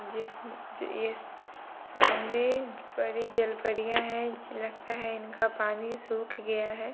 जिस्म जो ये सामने बड़ी जलपरियां हैं। जे लगता है इनका पानी सूख गया है।